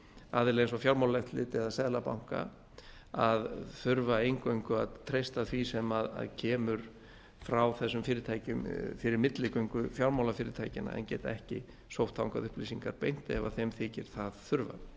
aðila eins og fjármálaeftirlitið eða seðlabanka að þurfa eingöngu að treysta því sem kemur frá þessum fyrirtækjum fyrir milligöngu fjármálafyrirtækjanna en geta ekki sótt þangað upplýsingar bein ef þeim þykir það þurfa